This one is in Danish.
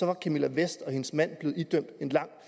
var camilla vest og hendes mand blevet idømt en lang